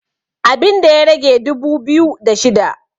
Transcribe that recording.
abinda ya rage dubu biyu da shida